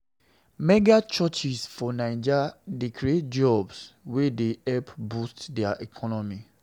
Mega-churches for Naija dey create jobs wey dey help boost di economy.